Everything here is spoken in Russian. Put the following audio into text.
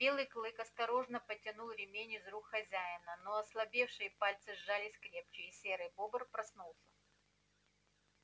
белый клык осторожно потянул ремень из рук хозяина но ослабевшие пальцы сжались крепче и серый бобр проснулся